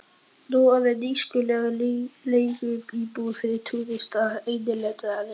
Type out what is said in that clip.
Nú orðinn nýtískuleg leiguíbúð fyrir túrista, innlenda sem erlenda.